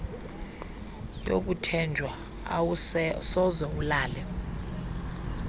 yokuthenjwa awusoze ulale